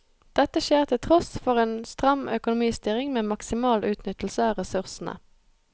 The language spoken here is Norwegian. Dette skjer til tross for en stram økonomistyring med maksimal utnyttelse av ressursene.